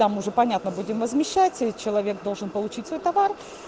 там уже понятно будем возмещать или человек должен получить свой товар